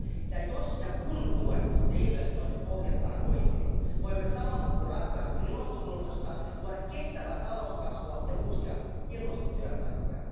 Ja jos ja kun tuet ja investoinnit ohjataan oikein, voimme samalla, kun ratkaisemme ilmastonmuutosta, luoda kestävää talouskasvua ja uusia ilmastotyöpaikkoja.